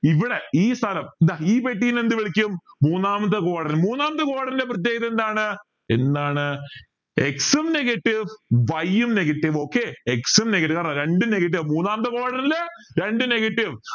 ഇവിടെ ഈ സ്ഥലം ദാ ഈ പെട്ടിനെ എന്ത് വിളിക്കും മൂന്നാമത്തെ quadrant മൂന്നാമത്തെ quadrant എ പ്രേത്യേഗത എന്താണ് എന്താണ് x ഉം negative y ഉം negative okay x ഉം negative ആൺ രണ്ടും negative മൂന്നാമത്തെ quadrant ൽ രണ്ട് negative